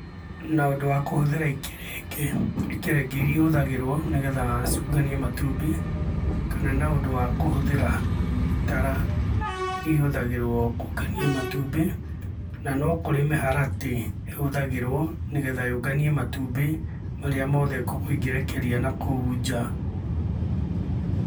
Na ũndũ wa kũhũthĩra ikerenge. Ikerenge iria ihũthagĩrũo, nigetha, ciũnganie matumbĩ, kana na ũndũ wa kũhũthĩra, itara, iria ihũthagĩrũo nĩgũo kũngania matumbĩ. Na no kũrĩ mĩharatĩ, ĩhũthagĩrũo nĩgetha yũnganie matumbi marĩa mothe ngũkũ ĩngĩrekeria na kũu nja.